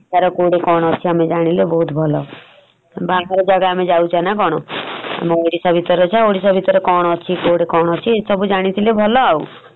ତାର କଉଟି କଣ ଅଛି ଆମେ ଜାଣିଲେ ବହୁତ୍ ଭଲ । ବାହାର ଜାଗା ଆମେ ଯାଉଚେ ନା କଣ ! ଆମ ଓଡିଶା ଭିତରେ ଅଛେ ଓଡିଶା ଭିତରେ କଣ ଅଛି କଉଠି କଣ ଅଛି ସବୁ ଜାଣିଥିଲେ ଭଲ ଆଉ ।